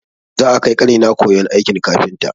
Za'a kai ƙanina koyon aikin kafinta.